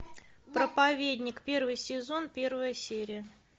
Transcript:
проповедник первый сезон первая серия